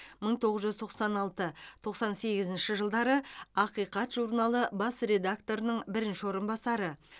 мың тоғыз жүз тоқсан алты тоқсан сегізінші жылдары ақиқат журналы бас редакторының бірінші орынбасары